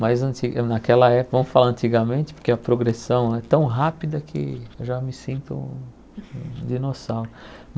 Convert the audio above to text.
Mas antiga naquela época, vamos falar antigamente, porque a progressão é tão rápida que eu já me sinto um um dinossauro.